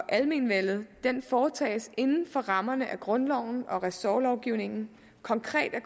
almenvellet foretages inden for rammerne af grundloven og ressortlovgivningen konkret er